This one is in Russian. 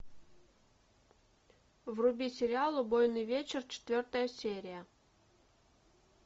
вруби сериал убойный вечер четвертая серия